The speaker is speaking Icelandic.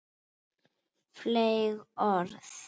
Fleyg orð.